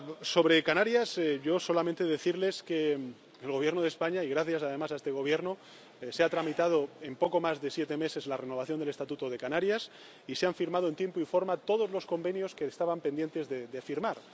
Sobre Canarias, yo solamente quisiera decirles que el Gobierno de España, que gracias, además, a este Gobierno, se ha tramitado en poco más de siete meses la renovación del Estatuto de Canarias y se han firmado en tiempo y forma todos los convenios que estaban pendientes de firmar.